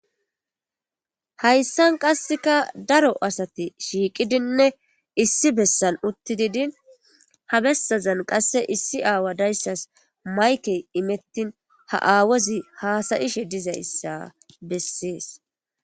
Hayssan qassika daro asati shiqqidinne issi besani uttidi din ha besazani din issi awasi mayikke imetin ha awazi hasayishe diza issa beses